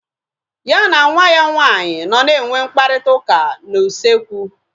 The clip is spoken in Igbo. Ya na nwa ya nwaanyị nọ na enwe mkparịta ụka na usekwu